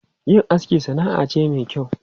Yin aski sana'a ce mai kyau.